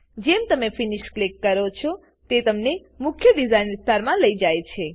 જેમ તમે finish click કરો છો તે તમને મુખ્ય ડીઝાઇન વિસ્તારમાં લઇ જાય છે